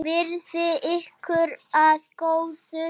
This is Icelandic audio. Verði ykkur að góðu.